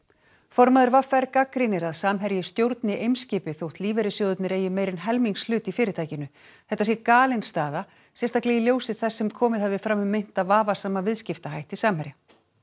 formaður v r gagnrýnir að Samherji stjórni Eimskipi þótt lífeyrissjóðirnir eigi meira en helmingshlut í fyrirtækinu þetta sé galin staða sérstaklega í ljósi þess sem komið hafi fram um meinta vafasama viðskiptahætti Samherja